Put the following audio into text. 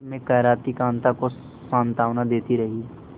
दर्द में कराहती कांता को सांत्वना देती रही